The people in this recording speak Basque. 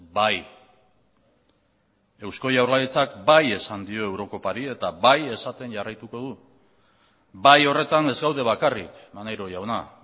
bai eusko jaurlaritzak bai esan dio eurokopari eta bai esaten jarraituko du bai horretan ez gaude bakarrik maneiro jauna